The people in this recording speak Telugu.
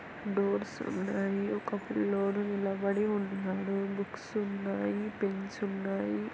డోర్స్ ఉన్నాయి ఒక పిల్లోడు నిలబడి ఉన్నాడు బుక్స్ ఉన్నాయి పెన్స్ ఉన్నాయి.